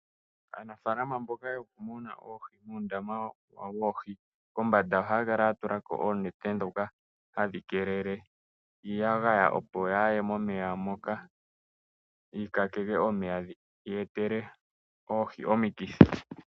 Aanafaalama mboka yokumuna oohi muundama wokumuna oohi, kombanda ohaya kala yatulako oonete dhoka hadhi kelele iyagaya opo yaye momeya moka yikakeke momeya yetele oohi omikithi.